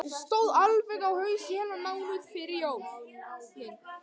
Stóð alveg á haus í heilan mánuð fyrir jólin.